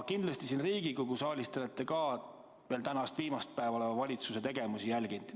Kindlasti te olete siin Riigikogu saalis, kus te täna viimast päeva ametis olete, valitsuse tegemisi jälginud.